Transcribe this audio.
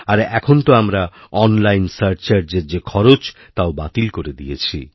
আর এখন তো আমরা ওই অনলাইনসারচার্জের যে খরচ তাও বাতিল করে দিয়েছি